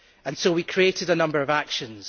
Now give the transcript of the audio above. So we created a number of actions.